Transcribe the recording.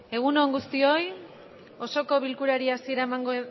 egun on guztioi osoko bilkurari hasiera emango